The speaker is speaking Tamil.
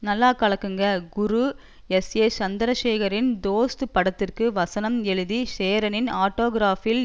நல்லா கலக்குங்க குரு எஸ்ஏ சந்திரசேகரனின் தோஸ்த் படத்துக்கு வசனம் எழுதி சேரனின் ஆட்டோகிராஃப்பில்